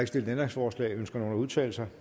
stillet ændringsforslag ønsker nogen at udtale sig